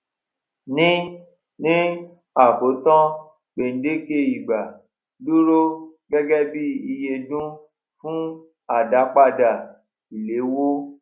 ní ní àkótán gbèdéke ìgbà dúró gégé bí iye dún fún àdápadà ìléwó